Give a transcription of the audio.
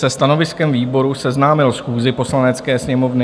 se stanoviskem výboru seznámil schůzi Poslanecké sněmovny,